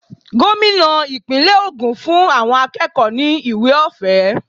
Gómìnà ìpínlè ogún fún àwọn akẹ́kọ̀ọ́ ni ìwé ọ̀fẹ́.